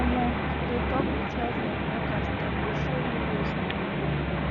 omo if you de talk with health um workers dem go show you ways on you go